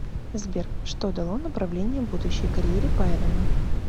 сбер что дало направление будущей карьере байрона